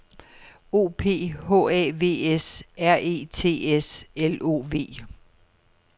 O P H A V S R E T S L O V